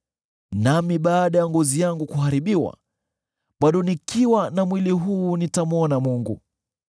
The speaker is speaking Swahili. Nami baada ya ngozi yangu kuharibiwa, bado nikiwa na mwili huu nitamwona Mungu;